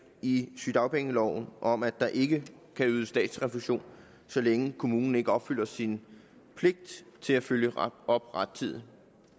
i sygedagpengeloven om at der ikke kan ydes statsrefusion så længe kommunen ikke opfylder sin pligt til at følge op rettidigt